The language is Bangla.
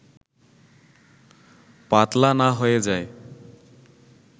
পাতলা না হয়ে যায়